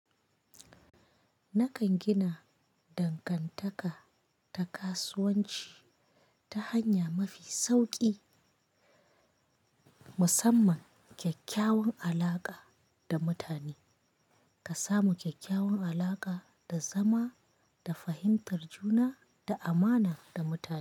Nakan gina dangantaka ta kasuwanci ta hanya mafi sauki, musamman kyakkyawan alaƙa da mutane. Ka samu kyakkyawan alaƙa da zama da fahimtar juna da amana da mutane.